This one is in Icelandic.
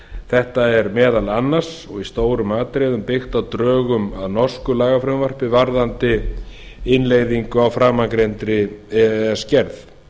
þetta er meðal annars og í stórum atriðum byggt á drögum að norsku lagafrumvarpi varðandi innleiðingu á framangreindri e e s gerð